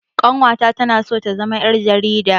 Ƙanwata tana so ta zama ƴar jarida